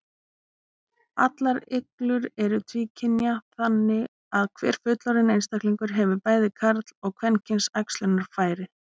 Allar iglur eru tvíkynja, þannig að hver fullorðinn einstaklingur hefur bæði karl- og kvenkyns æxlunarfæri.